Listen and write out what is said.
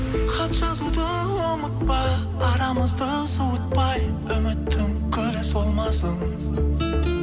хат жазуды ұмытпа арамызды суытпай үміттің гүлі солмасын